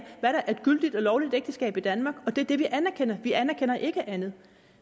hvad der er et gyldigt og lovligt ægteskab i danmark og det er det vi anerkender vi anerkender ikke andet